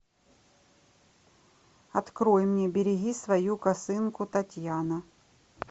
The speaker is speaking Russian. открой мне береги свою косынку татьяна